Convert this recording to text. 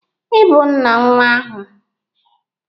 Ị bụ nna nwa ahụ